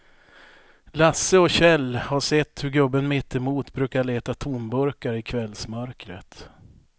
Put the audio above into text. Lasse och Kjell har sett hur gubben mittemot brukar leta tomburkar i kvällsmörkret.